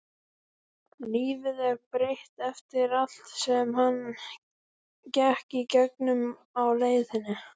Lífið er breytt eftir allt sem hann gekk í gegnum á leiðinni.